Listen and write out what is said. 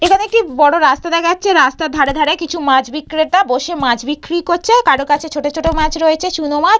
এখানে একটি বড় রাস্তা দেখা যাচ্ছে রাস্তার ধারে ধারে কিছু মাছ বিক্রেতা বসে মাছ বিক্রি করছে কারো কাছে ছোট ছোট মাছ রয়েছে চুনো মাছ।